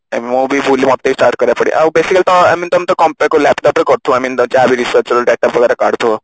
ମୁଁ ବି ଭୁଲି ଯାଇଛି ମତେ ବି start କରିବାକୁ ପଡିବ ଆଉ basically ତମେ I mean ତମେ ତ laptop ରେ କରୁଥିବ ଆଇ mean ତମେ ଯାହାବି research ର data ବଗେରା କାଢୁଥିବ